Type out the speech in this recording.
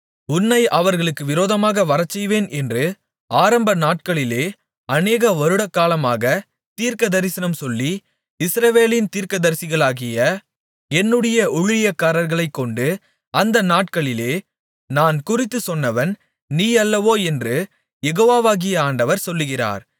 உன்னை அவர்களுக்கு விரோதமாக வரச்செய்வேன் என்று ஆரம்ப நாட்களிலே அநேக வருடகாலமாகத் தீர்க்கதரிசனம் சொல்லி இஸ்ரவேலின் தீர்க்கதரிசிகளாகிய என்னுடைய ஊழியக்காரர்களைக்கொண்டு அந்த நாட்களிலே நான் குறித்துச்சொன்னவன் நீ அல்லவோ என்று யெகோவாகிய ஆண்டவர் சொல்லுகிறார்